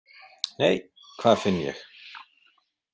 Nei, hvað finn ég!